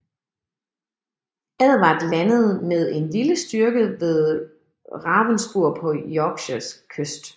Edvard landede med en lille styrke vedRavenspur på Yorkshires kyst